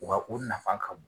Wa u nafa ka bon